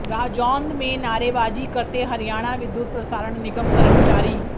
राजौंद में नारेबाजी करते हरियाणा विद्युत प्रसारण निगम कर्मचारी